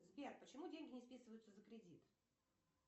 сбер почему деньги не списываются за кредит